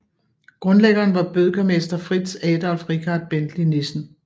Grundlæggeren var bødkermester Fritz Adolf Richard Bentley Nissen